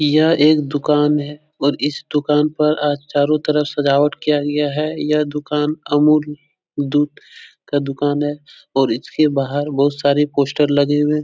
यह एक दुकान है और इस दुकान पर आज चारों तरफ़ सजावट किया गया है यह दुकान अमूल दूध का दुकान है और इछके बाहर बहोत सारी पोस्टर लगे हुए --